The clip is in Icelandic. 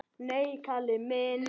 Nei, Kalli minn.